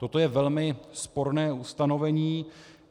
Toto je velmi sporné ustanovení.